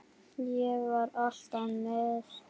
Ég var alltaf með.